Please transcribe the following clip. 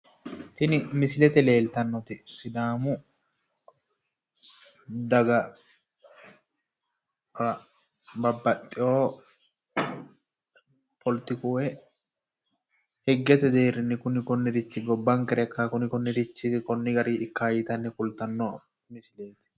Tini misilete leeltannoti sidaamu daga babbaxxeyo hpoletiku woy higgete deerrinni kuni konnirichi gobbankera ikkawo kuni konnirichi konni gari ikkawo yite kultanno misileeti.